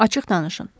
Açıq danışın.